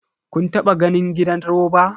Kun taba ganin gidan roba?